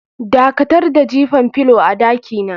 Dakatar da jifan filo a dakina.